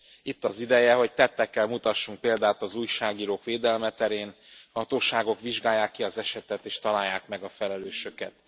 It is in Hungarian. Itt az ideje, hogy tettekkel mutassunk példát az újságírók védelme terén a hatóságok vizsgálják ki az esetet és találják meg a felelősöket!